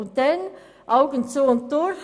Und dann: Augen zu und durch!